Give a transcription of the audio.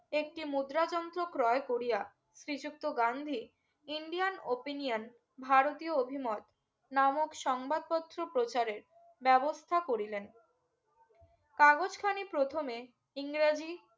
একটি মুদ্রা যন্ত্র ক্রয় করিয়া শ্রী যুক্ত গান্ধী ইন্ডিয়ান opinion ভারতীয় অভিমত নামক সংবাদপত্র প্রচারে ব্যবস্থা করিলেন কাগজ খানি প্রথমে ইংরেজী